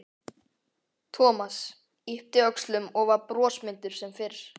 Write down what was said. Thomas yppti öxlum og var brosmildur sem fyrr.